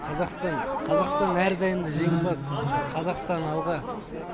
қазақстан қазақстан әрдайым да жеңімпаз қазақстан алға